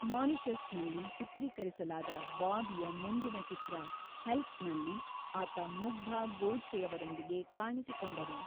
ಮಾರಿಷಸ್‌ನಲ್ಲಿ ಚಿತ್ರೀಕರಿಸಲಾದ ಬಾಬಿಯ ಮುಂದಿನ ಚಿತ್ರ 'ಹೆಲ್ಪ್'ನಲ್ಲಿ ಆತ ಮುಗ್ಧಾ ಗೋಡ್ಸೆಯವರೊಂದಿಗೆ ಕಾಣಿಸಿಕೊಂಡರು.